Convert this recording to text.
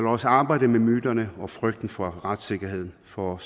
os arbejde med myterne og frygten for retssikkerheden for